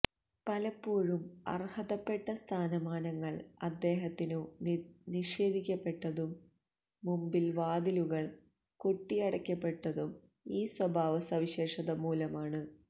പലപ്പോഴും അർഹതപ്പെട്ട സ്ഥാനമാനങ്ങൾ അദ്ദേഹത്തിനു നിഷേധിക്കപ്പെട്ടതും മുമ്പിൽ വാതിലുകൾ കൊട്ടിയടക്കപ്പെട്ടതും ഈ സ്വഭാവ സവിശേഷതമൂലമാണ്